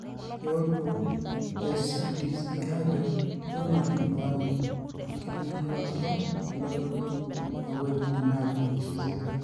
Keutu eCDC ajo keing'or intuan enkitinyikaroto elototo toowuejitin naatii Zika.